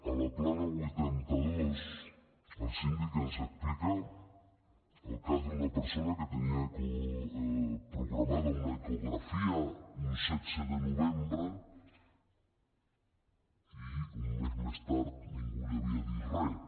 a la plana vuitanta dos el síndic ens explica el cas d’una persona que tenia programada una ecografia un setze de novembre i un mes més tard ningú li havia dit res